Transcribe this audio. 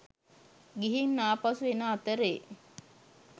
ගිහින් ආපසු එන අතරේ